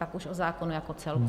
Pak už o zákonu jako celku.